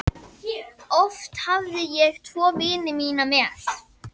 Oft hafði ég tvo vini mína með.